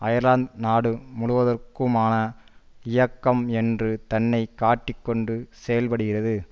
Ireland நாடு முழுவதற்குமான இயக்கம் என்று தன்னை காட்டி கொண்டு செயல்படுகிறது